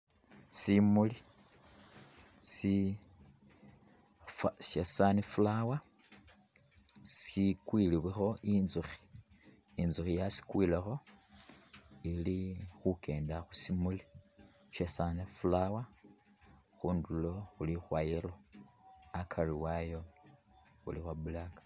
Simuli si sya sunflower sikwiliwilekho intsukhi , intsukhi yakyikwilekho ili khukenda khusimuli sha sunflower khunduro khuli khwa yellow akari wayo khuli khwa black.